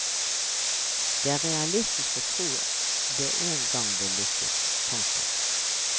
Det er realistisk å tro at det en gang vil lykkes. punktum